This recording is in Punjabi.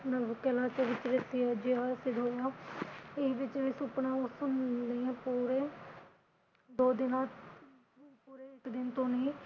ਇੰਜ ਜਿਵੇ ਸੁਪਨਾ ਉਸ ਤੋਂ ਦੋ ਦਿਨਾਂ ਤੋ, ਇਕ ਦਿਨ ਟੋਹ ਨਹੀ